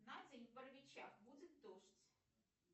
на день в боровичах будет дождь